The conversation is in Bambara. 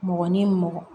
Mɔgɔ ni mɔgɔ